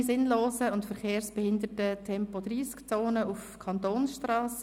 «Keine sinnlosen und verkehrsbehindernden Tempo-30-Zonen auf Kantonsstrassen».